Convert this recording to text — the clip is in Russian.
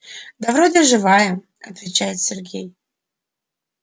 да вроде живая отвечает сергей